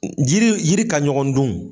Jiri yiri ka ɲɔgɔn dun.